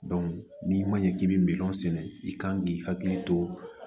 n'i ma ɲɛ k'i bɛ miliyɔn sɛnɛ i kan k'i hakili to